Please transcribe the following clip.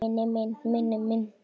Í fyrsta skipti.